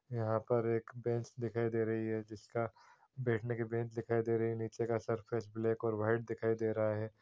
यहाँ पर एक बेंच दिखाई दे रही है जिसका बैठने की बेंच दिखाई दे रही है नीचे का सरफेस ब्लैक और व्हाइट दिखाई दे रहा है।